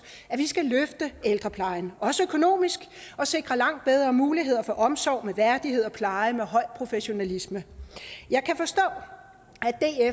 at vi skal løfte ældreplejen også økonomisk og sikre langt bedre muligheder for omsorg med værdighed og pleje med høj professionalisme jeg kan forstå